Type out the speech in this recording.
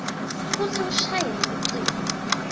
kutsi ushayele lucingo